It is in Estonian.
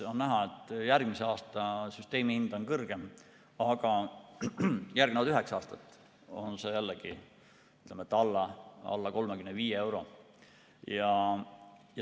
On näha, et järgmise aasta süsteemihind on kõrgem, aga järgnevad üheksa aastat on see jällegi alla 35 euro.